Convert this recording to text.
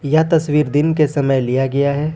यह तस्वीर दिन के समय लिया गया है।